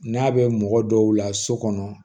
N'a bɛ mɔgɔ dɔw la so kɔnɔ